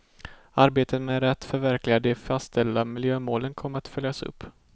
Arbetet med att förverkliga de fastställda miljömålen kommer att följas upp.